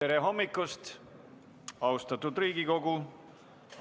Tere hommikust, austatud Riigikogu!